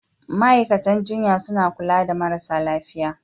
Ma'aikatan jinya suna kula da marasa lafiya.